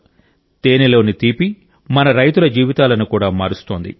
తేనెలోని తీపి మన రైతుల జీవితాలను కూడా మారుస్తోంది